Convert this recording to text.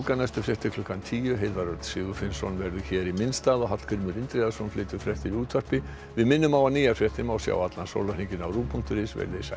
næstu fréttir klukkan tíu Heiðar Örn Sigurfinnsson verður hér í minn stað og Hallgrímur Indriðason flytur fréttir í útvarpi við minnum á að nýjar fréttir má sjá allan sólarhringinn á rúv punktur is veriði sæl